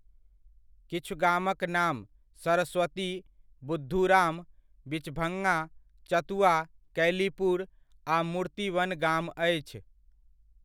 किछु गामक नाम सरस्वती, बुद्धुराम, बिचभङ्गा, चतुआ, कैलीपुर आ मूर्ति वन गाम अछि।